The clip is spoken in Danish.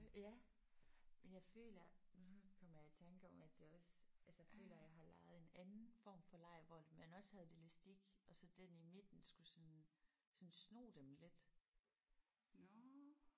Ja men jeg føler nu kom jeg i tanke om at jeg også altså føler at jeg også har leget en anden form for leg hvor at man også havde en elastik og så den i midten skulle sådan sådan sno dem lidt